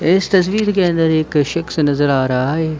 इस तस्वीर के अंदर एक शक्स नजर आ रहा हैं।